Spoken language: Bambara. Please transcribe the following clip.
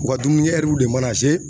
U ka dumunikɛ de mana